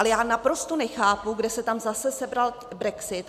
Ale já naprosto nechápu, kde se tam zase sebral brexit.